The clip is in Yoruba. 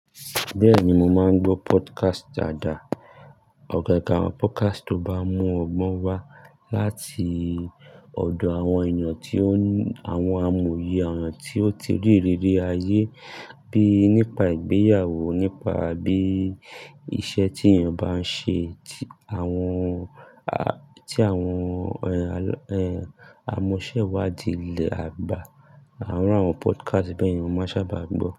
Bẹ́ẹ̀ni, mo máa ń gbọ́ podcast àdá. Ọ̀kọ̀ akawon podcast to ba mu ọgbọn wa láti ọ̀dọ̀ àwọn èèyàn tí ó, àwọn amòye àwọn tí ó ti rí rere ayé bíi nípa ìgbéyàwó, nípa bí iṣẹ́ tí èèyàn bá n ṣe, tí àwọn a, tí àwọn ẹ́, ẹ́ amọ̀sẹ́wàdìí ilẹ̀ àgbà. Àárùn àwọn podcast bẹ́ẹ̀ ni mo sábà máa ń gbọ́